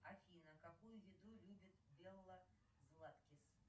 афина какую еду любит белла златкис